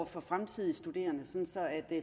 for fremtidens studerende så